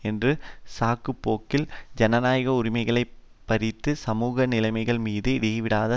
என்ற சாக்குபோக்கில் ஜனநாயக உரிமைகளை பறிப்பது சமூக நிலைமைகள் மீது இடைவிடாது